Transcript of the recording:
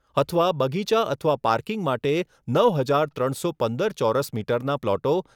અથવા બગીચા અથવા પાર્કિંગ માટે નવ હજાર ત્રણસો પંદર ચોરસ મીટર ના પ્લોટો